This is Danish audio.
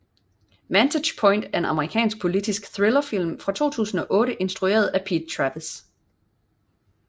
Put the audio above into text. Vantage Point er en amerikansk politisk thrillerfilm fra 2008 instrueret af Pete Travis